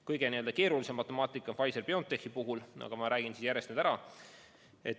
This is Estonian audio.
Kõige keerulisem matemaatika on Pfizer/BioNTechi puhul, aga ma räägin siis järjest selle ära.